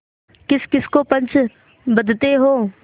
किसकिस को पंच बदते हो